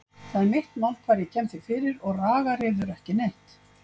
Það er mitt mál hvar ég kem því fyrir og ragar yður ekki neitt.